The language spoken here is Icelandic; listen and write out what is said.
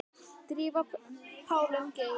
Drífa Pálín Geirs.